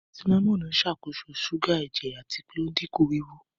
Sínámọ́nì ń ṣàkóso ṣúgà ẹ̀jẹ̀ àti pé ò ń dínkù wíwú